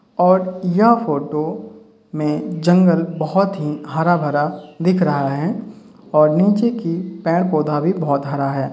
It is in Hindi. और यह फोटो में जंगल बहोत ही हरा भरा दिख रहा है और नीचे की पेड़ पौधा भी बहोत हरा है।